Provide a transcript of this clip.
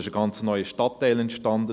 Ein ganz neuer Stadtteil entstand.